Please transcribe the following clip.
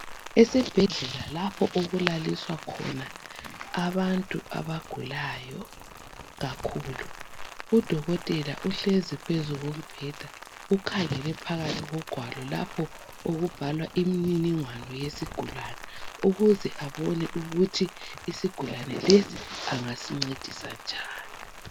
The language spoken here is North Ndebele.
Esibhedlela lapho okulaliswa khona abantu abagulayo kakhulu udokotela uhlezi phezu kombheda ukhangele phakathi kogwalo lapho okubhalwa imininingwane yesigulane ukuze abone ukuthi isigulane lesi engasincedisa njani.